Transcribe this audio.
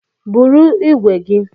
Bụrụ ìgwè gi!